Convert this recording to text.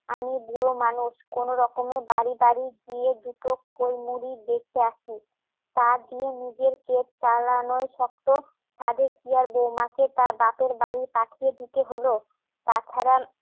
আমি বুড়ো মানুষ কোনোরকমে বাড়ি বাড়ি দুটো খোল মুড়ি বেঁধে আসি তা দিয়ে নিজের পেট চালানোই শক্ত সাধে কি আর বৌমাকে তার বাপের বাড়ি পাঠিয়ে দিতে হলো তাছাড়া